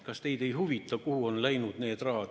Kas teid ei huvita, kuhu on raha läinud?